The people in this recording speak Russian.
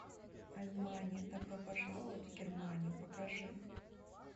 альмания добро пожаловать в германию покажи